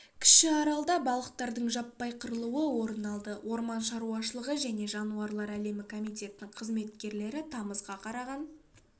кіші аралда балықтардың жаппай қырылуы орын алды орман шаруашылығы және жануарлар әлемі комитетінің қызметкерлері тамызға қараған